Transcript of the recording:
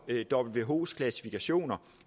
whos klassifikationer